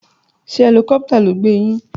Sé helicopter ló gbé yín